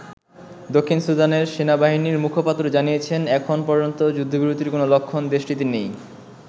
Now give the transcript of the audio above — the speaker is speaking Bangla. দক্ষিণ সুদানের সেনাবাহিনীর মুখপাত্র জানিয়েছেন এখন পর্যন্ত যুদ্ধবিরতির কোন লক্ষণ দেশটিতে নেই।